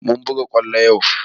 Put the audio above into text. Mun buga kwallo yau